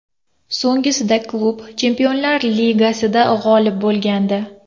So‘nggisida klub Chempionlar Ligasida g‘olib bo‘lgandi.